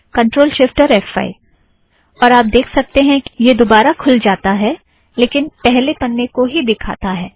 ctrl shift और F five और आप देख सकतें हैं कि यह दोबारा खुल जाता है लेकिन पहले पन्ने को दिखाता है